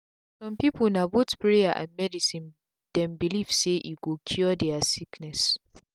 some people na both prayers and medicine them belief saye go cure there sickness.